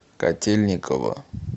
котельниково